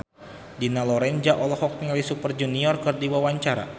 Dina Lorenza olohok ningali Super Junior keur diwawancara